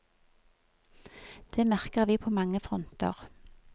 Det merker vi på mange fronter.